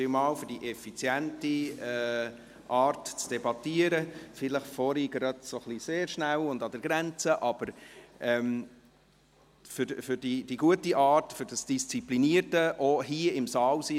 Vielen Dank, für die effiziente Art zu debattieren – vorhin vielleicht etwas sehr schnell und an der Grenze –, aber auch für die gute Art, für das Disziplinierte, auch für das Hier-im-Saal-Sein.